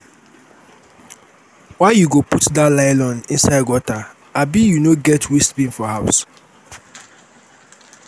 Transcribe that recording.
why you put dat nylon inside gutter abi you no get waste bin for your house?